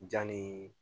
Jan ni